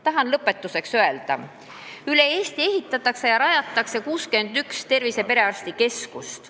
Tahan lõpetuseks öelda, et Eestis luuakse 61 tervise- ja perearstikeskust.